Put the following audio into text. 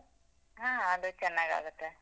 ಹಾ ಅದು ಚನ್ನಾಗಾಗತ್ತೆ.